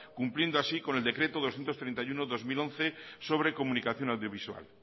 cumpliendo así con el decreto doscientos treinta y uno barra dos mil once sobre comunicación audiovisual